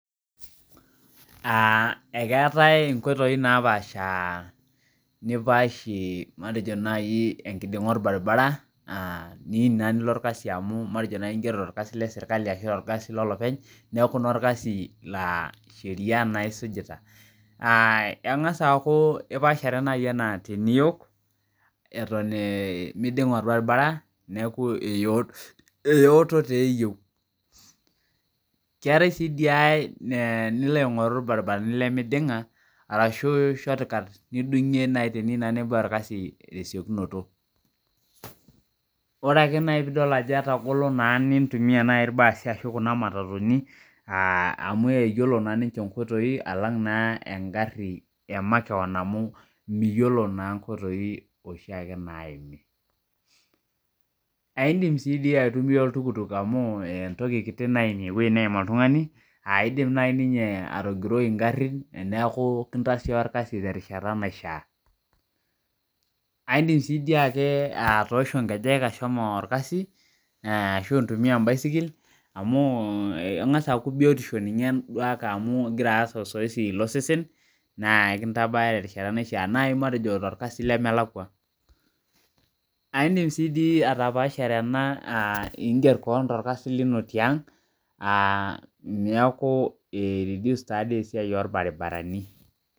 Aa ekeetai inkoitoi napaasha nipaashie matejo nai enkiding'a olbaribara aa niyim naa nilo olkasi amu matejo naa in'giero tolkasi le serkali ashu tolkasi lolopeny neeku naa olkasi laa sheria naa isujita aa eng'as aaku ipaashare nai enaa teniyok eton miding'a olbaribara neeku eyooto taa eyieu Keetai sii dii si nilo aing'oru ilbaribarani lemiding'a arashu shortcut nifing'ie nai teniyieu naa nibaya olkasi tesiokinoto Orake piidol naai ajo etagolo naa niintumia na ilbaasi ashu kuna matatuni amu eyiolo naa ninche inkoitoi alang' naa engarhi emakeon amu miyiolo naa inkoitoi oshi ake naimi Aindim taa sii aitumia oltukutuk amu entoki kitu naim eneim oltung'ani aidim nai ninyeatogiroi ingharhin neeku kintasioyo olkasi terishata naishaa Aidim taa sii dii ake atoosho ngejek ashomo olkasi ashu intumia em'baisikil amu eng'as aaku biyotisho ninye duake amu igira aas osoezi losesen naa kintabaya terishata naishaa naai matejo tolkasi lemelakua Aindim taa sii dii atapaashare ena aa ingier koon tolkasi lino tiang' niaku ireduce taadei esiai olbaribarani